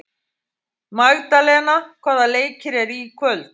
Magdalena, hvaða leikir eru í kvöld?